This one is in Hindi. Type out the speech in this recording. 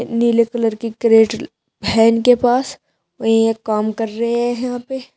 नीले कलर की क्रेट है इनके पास वहीं एक काम कर रहे हैं यहां पे--